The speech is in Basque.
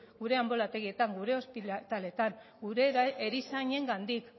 gure anbulategietan gure ospitaletan gure erizainengandik